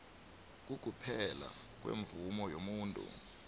kokuphela kwemvumo yomuntu